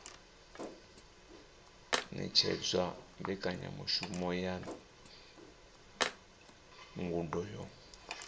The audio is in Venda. ṅetshedza mbekanyamushumo ya ngudo yo